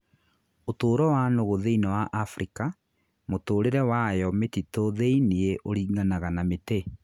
ũtũũro wa nũgũ thĩinĩ wa Afrika mũtũũrĩre ya wayo mĩtitũ thĩiniĩ uringanag na mĩtĩ.